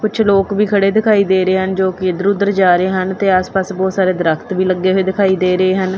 ਕੁਛ ਲੋਕ ਵੀ ਖੜੇ ਦਿਖਾਈ ਦੇ ਰਹੇ ਹਨ ਜੋਕਿ ਇੱਧਰ ਉੱਧਰ ਜਾ ਰਹੇ ਹਨ ਤੇ ਆਸ ਪਾਸ ਬਹੁਤ ਸਾਰੇ ਦ੍ਰਖਤ ਵੀ ਲੱਗੇ ਹੋਏ ਦਿਖਾਈ ਦੇ ਰਹੇ ਹਨ।